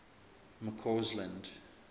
mccausland